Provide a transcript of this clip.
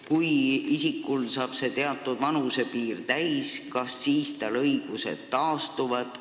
Kui isikul saab teatud vanusepiir täis, kas tal siis need õigused taastuvad?